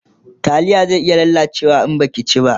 taliyan zai ya lalace in Baki ci ba